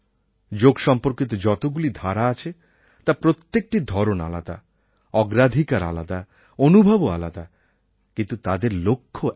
যোগ সম্পর্কিত যতগুলি ধারা আছে তার প্রত্যেকটির ধরণ আলাদা অগ্রাধিকার আলাদা অনুভবও আলাদা কিন্তু তাদের লক্ষ্য এক